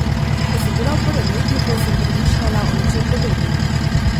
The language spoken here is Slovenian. Ko sem bila v prvem letniku, sem premišljala o nečem podobnem.